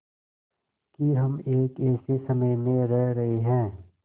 कि हम एक ऐसे समय में रह रहे हैं